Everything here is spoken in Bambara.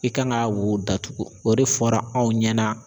I kan ka wo datugu. O de fɔra anw ɲɛna.